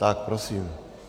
Tak prosím.